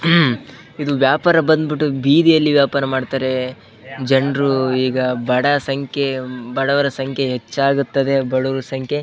ಹ್ಮ್ ಇದು ವ್ಯಾಪಾರ ಬಂದ್ಬಿಟ್ಟು ಬೀದೀಲಿ ವ್ಯಾಪಾರ ಮಾಡ್ತಾರೆ ಜನರು ಈಗ ಬಡವರ ಸಂಖ್ಯೆ ಹೆಚ್ಚಾಗುತ್ತದೆ ಬಡವರ ಸಂಖ್ಯೆ-